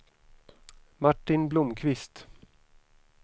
Martin Blomkvist